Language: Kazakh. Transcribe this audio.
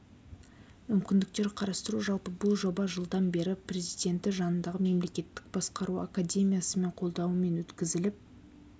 мүмкіндіктер қарастыру жалпы бұл жоба жылдан бері президенті жанындағы мемлекеттік басқару академиясы мен қолдауымен өткізіліп